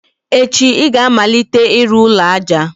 echi ị ga-amalite ịrụ ụlọ aja!